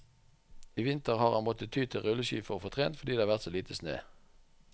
I vinter har han måttet ty til rulleski for å få trent, fordi det har vært så lite snø.